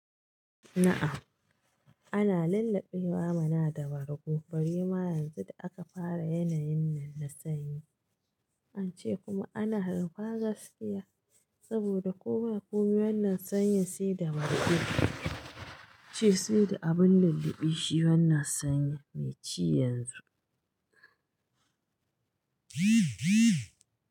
Na'a ana lulluɓewa mana da wargo bari ma yanzu da aka fara yanayin nan na sanyi, ance kuma ana harba gaskiya saboda kowa kuma wannan sanyin sai da bargo ce sai da abun lulluɓi shi wannan sanyi mai ci yanzu.